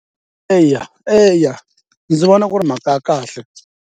Eya eya ndzi vona ku ri mhaha ya kahle.